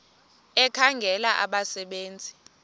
ekhangela abasebe nzi